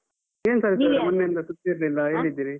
ಏನ್ ಸರಿತಾ ಸುದ್ದಿ ಇರ್ಲಿಲ್ಲ ಹೇಗಿದ್ದೀರಿ?